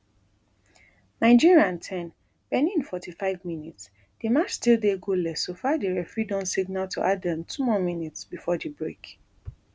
nigeria ten benin forty-five mins di match still dey goalless so far di referee don signal to add um two more minutes before di break